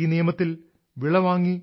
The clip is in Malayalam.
ഈ നിയമത്തിൽ വിള വാങ്ങി